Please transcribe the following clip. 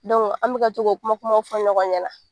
an bɛka to k'o kuma kuma fɔ ɲɔgɔn ɲɛna.